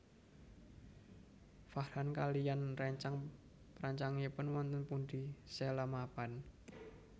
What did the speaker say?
Farhan kaliyan réncang réncangipun wonten pundi Sheila mapan